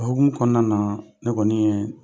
O hukumu kɔnɔna na ne kɔni ye